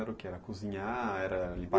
Era o que era cozinhar? Era lim